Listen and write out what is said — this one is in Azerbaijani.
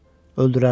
Öldürərlər,